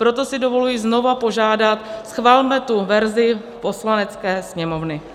Proto si dovoluji znovu požádat, schvalme tu verzi Poslanecké sněmovny.